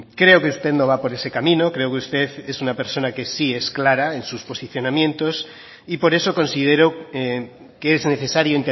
creo que usted no va por ese camino creo que usted es una persona que sí es clara en sus posicionamientos y por eso considero que es necesario